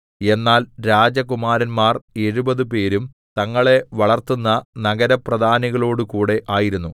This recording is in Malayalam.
എന്നാൽ രാജകുമാരന്മാർ എഴുപത് പേരും തങ്ങളെ വളർത്തുന്ന നഗരപ്രധാനികളോടുകൂടെ ആയിരുന്നു